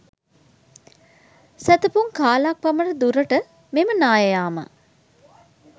සැතපුම් කාලක් පමණ දුරට මෙම නාය යාම